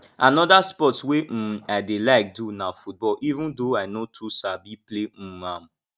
another sports wey um i dey like do na football even though i no too sabi play um am